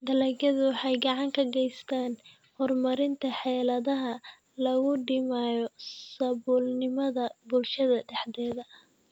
Dalagyadu waxay gacan ka geystaan ??horumarinta xeeladaha lagu dhimayo saboolnimada bulshada dhexdeeda.